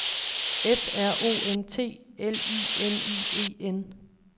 F R O N T L I N I E N